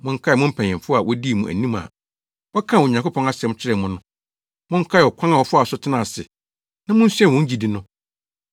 Monkae mo mpanyimfo a wodii mo anim a wɔkaa Onyankopɔn asɛm kyerɛɛ mo no. Monkae ɔkwan a wɔfaa so tenaa ase na munsua wɔn gyidi no.